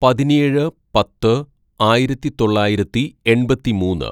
"പതിനേഴ് പത്ത് ആയിരത്തിതൊള്ളായിരത്തി എണ്‍പത്തിമൂന്ന്‌